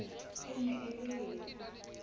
e ne e le lefe